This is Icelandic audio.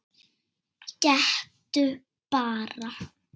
Gettu bara?